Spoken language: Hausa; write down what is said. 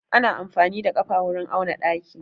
Ana amfani da ƙafa wurin auna ɗaki.